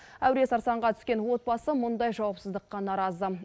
әуре сарсаңға түскен отбасы мұндай жауапсыздыққа наразы